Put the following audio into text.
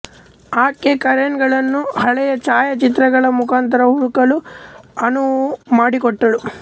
ಆಕೆ ಕರೆನ್ ಳನ್ನು ಹಳೆಯ ಛಾಯಾಚಿತ್ರಗಳ ಮುಖಾಂತರ ಹುಡುಕಲು ಅನುವುಮಾಡಿಕೊಟ್ಟಳು